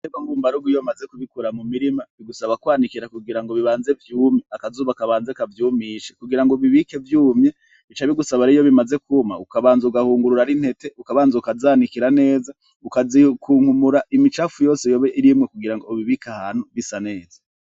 Ibitegwa mbubarugo iyo bamaze kubikura mu mirima, bigusaba kwanikira kugira ngo bibanze vyume, akazuba kabanze kavyumishe, kugira ubibike vyumye, bica bigusaba rero iyo bimaze kuma, ukabanza ugahungurura n'intete ukabanza ukazanikira neza, ukazikunkumura imicafu yose yoba irimwo kugira ngo ubibike ahantu bisa neza.